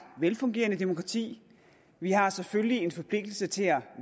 velfungerende demokrati vi har selvfølgelig en forpligtelse til at